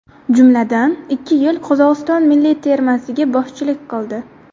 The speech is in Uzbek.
Jumladan, ikki yil Qozog‘iston milliy termasiga boshchilik qildi.